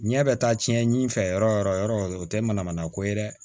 Ɲɛ bɛ taa cɛn ɲi fɛ yɔrɔ yɔrɔ yɔrɔ o tɛ manamana ko ye dɛ